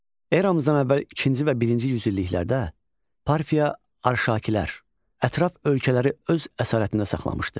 Eramızdan əvvəl ikinci və birinci yüzilliklərdə Parfiya Arşakilər ətraf ölkələri öz əsarətində saxlamışdı.